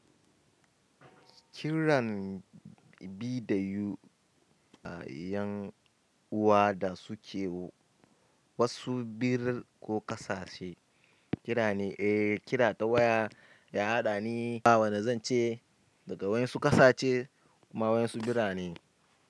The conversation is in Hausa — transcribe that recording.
Kiran vidio yan'uwa da suke suan ko ƙasashe kira ne, eh, kira ta waya, ya haɗani ba wane zan ce da wayansu ƙasashe kuma wayansu birane.